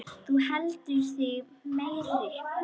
Þú heldur þig meiri.